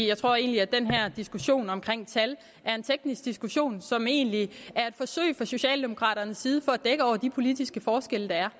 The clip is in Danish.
jeg tror egentlig at den her diskussion om tal er en teknisk diskussion som egentlig er et forsøg fra socialdemokraternes side på at dække over de politiske forskelle der er